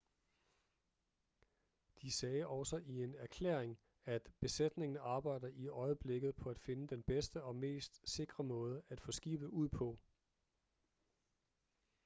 de sagde også i en erklæring at besætningen arbejder i øjeblikket på at finde den bedste og mest sikre måde at få skibet ud på